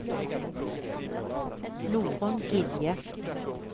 Norunn Gilje